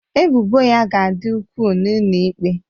Ebubo ya ga-adị ukwuu n'ụlọ ikpe